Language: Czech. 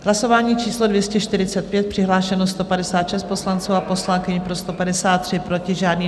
Hlasování číslo 245, přihlášeno 156 poslanců a poslankyň, pro 153, proti žádný.